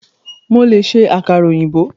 Mo lè ṣe àkàrà ọ̀yìnbó.